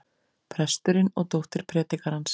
Presturinn og dóttir predikarans.